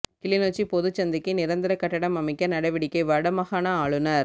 கிளிநொச்சி பொதுச் சந்தைக்கு நிரந்தர கட்டடம் அமைக்க நடவடிக்கை வட மாகாண ஆளுநர்